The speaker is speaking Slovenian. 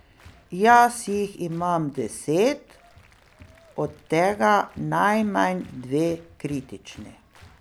Jaz jih imam deset, od tega najmanj dve kritični.